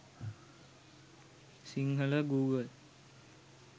sinhala google